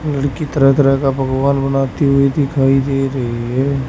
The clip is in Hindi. लड़की तरह तरह का पकवान बनाती हुई दिखाई दे रही है।